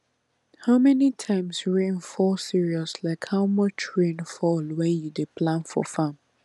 how many times rain fall serious like how much rain fall when you dey plan for farm